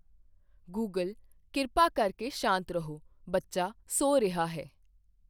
Google ਕਿਰਪਾ ਕਰਕੇ ਸ਼ਾਂਤ ਰਹੋ, ਬੱਚਾ ਸੌਂ ਰਿਹਾ ਹੈ